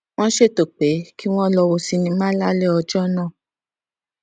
wón ṣètò pé kí wón lọ wo sinimá lálé ọjó náà